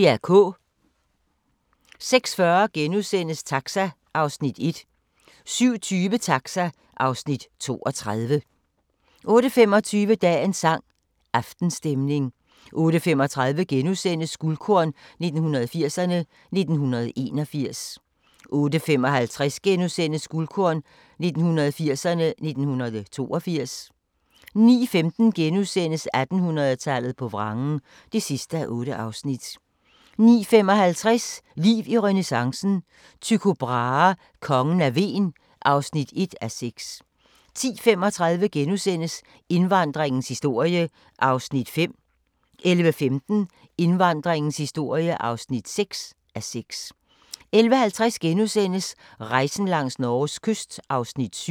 06:40: Taxa (Afs. 31)* 07:20: Taxa (Afs. 32) 08:25: Dagens sang: Aftenstemning 08:35: Guldkorn 1980'erne: 1981 * 08:55: Guldkorn 1980'erne: 1982 * 09:15: 1800-tallet på vrangen (8:8)* 09:55: Liv i renæssancen – Tycho Brahe: Kongen af Hven (1:6) 10:35: Indvandringens historie (5:6)* 11:15: Indvandringens historie (6:6) 11:50: Rejsen langs Norges kyst (7:10)*